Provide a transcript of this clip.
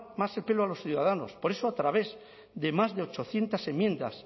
más el pelo a los ciudadanos por eso a través de más de ochocientos enmiendas